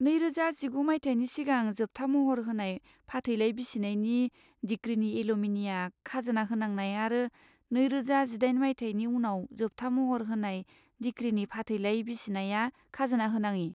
नैरोजा जिगु मायथाइनि सिगां जोबथा महर होनाय फाथैलाइ बिसिनायनि डिक्रीनि एलिम'निया खाजोना होनांनाय आरो नैरोजा जिदाइन मायथाइनि उनाव जोबथा महर होनाय डिक्रीनि फाथैलाइ बिसिनाया खाजोना होनाङि।